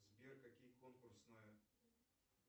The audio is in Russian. сбер какие конкурсные